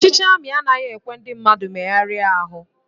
Ọchịchị ami anaghị ekwe ndị mmadụ megharia ahu